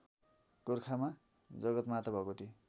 गोरखामा Jagatmata Bhagwati